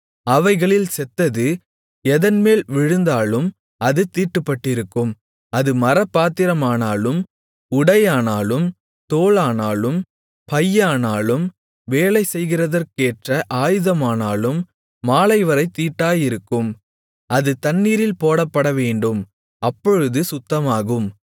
அவைகளில் செத்தது எதன்மேல் விழுந்தாலும் அது தீட்டுப்பட்டிருக்கும் அது மரப்பாத்திரமானாலும் உடையானாலும் தோலானாலும் பையானாலும் வேலை செய்கிறதற்கேற்ற ஆயுதமானாலும் மாலைவரைத் தீட்டாயிருக்கும் அது தண்ணீரில் போடப்படவேண்டும் அப்பொழுது சுத்தமாகும்